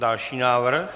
Další návrh?